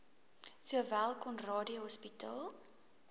sowel conradie hospitaal